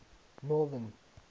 northern